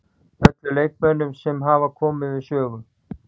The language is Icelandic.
Öllum leikmönnunum sem hafa komið við sögu.